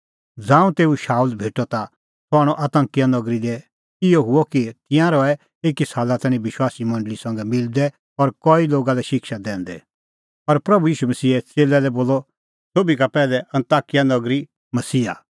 ज़ांऊं तेऊ शाऊल भेटअ ता सह आणअ अन्ताकिया नगरी लै इहअ हुअ कि तिंयां रहै एकी साला तैणीं विश्वासी मंडल़ी संघै मिलदै और कई लोगा लै शिक्षा दैंदै और प्रभू ईशू मसीहे च़ेल्लै लै बोलअ सोभी का पैहलै अन्ताकिया नगरी मसीही